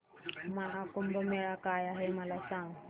महा कुंभ मेळा काय आहे मला सांग